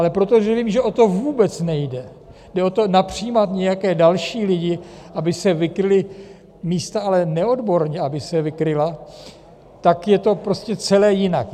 Ale protože vím, že o to vůbec nejde, jde o to napřijímat nějaké další lidi, aby se vykryla místa, ale neodborně aby se vykryla, tak je to prostě celé jinak.